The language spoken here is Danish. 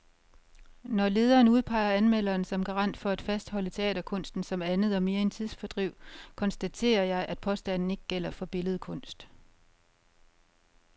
Når lederen udpeger anmelderen som garant for at fastholde teaterkunsten som andet og mere end tidsfordriv, konstaterer jeg, at påstanden ikke gælder for billedkunst.